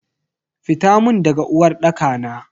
Fita mun daga uwarɗaka na.